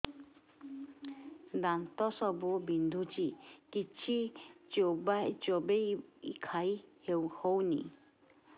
ଦାନ୍ତ ସବୁ ବିନ୍ଧୁଛି କିଛି ଚୋବେଇ ଖାଇ ହଉନି